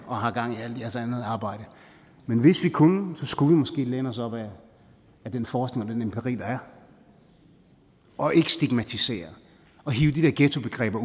og har gang i alt jeres andet arbejde men hvis vi kunne skulle vi måske læne os op ad den forskning og den empiri der er og ikke stigmatisere og hive de der ghettobegreber